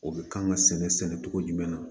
O bɛ kan ka sɛnɛ sɛnɛ sɛnɛ cogo jumɛn na